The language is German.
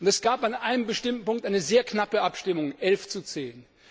Es gab an einem bestimmten Punkt eine sehr knappe Abstimmung elf zu zehn.